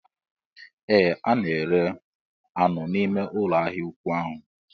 Ee a na-ere anụ n'ime ụlọ ahịa ụkwụ ahụ